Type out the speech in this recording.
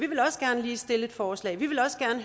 at vi stille et forslag